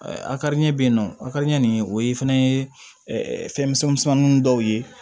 A kari ɲɛ bɛ yen nɔ a ka di n ɲɛ nin o ye fana ye fɛn misɛnnin dɔw ye